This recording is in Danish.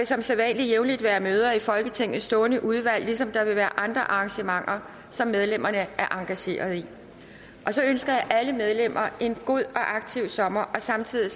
som sædvanlig jævnligt være møder i folketingets stående udvalg ligesom der vil være andre arrangementer som medlemmerne er engageret i så ønsker jeg alle medlemmer en god og aktiv sommer og samtidig